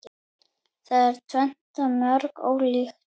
Það er tvennt mjög ólíkt.